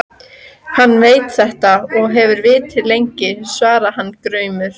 Hann veit þetta og hefur vitað lengi, svaraði hann gramur.